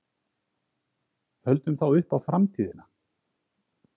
Höldum þá upp á FRAMTÍÐINA.